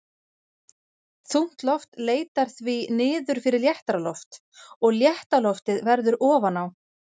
Þungt loft leitar því niður fyrir léttara loft og létta loftið verður ofan á.